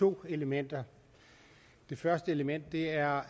to elementer det første element er